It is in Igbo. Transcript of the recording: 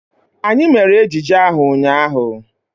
Anyị mere ejije ahụ ụnyaahụ.